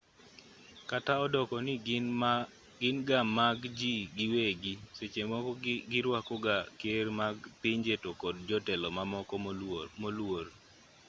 kata odoko ni gin ga mag ji giwegi seche moko giruako ga ker mag pinje to kod jotelo mamoko moluor